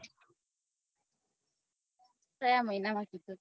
કયા મહિના માં